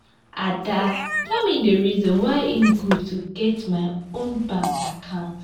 ada tell me the reason why e good to get my own bank account